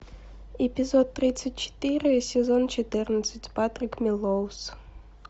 эпизод тридцать четыре сезон четырнадцать патрик мелроуз